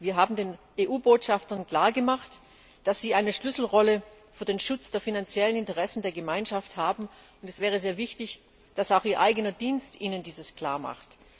Wir haben den EU Botschaftern klar gemacht, dass sie eine Schlüsselrolle für den Schutz der finanziellen Interessen der Gemeinschaft haben, und es wäre sehr wichtig, dass auch ihr eigener Dienst ihnen dieses klar macht.